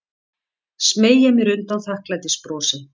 Smeygi mér undan þakklætisbrosi.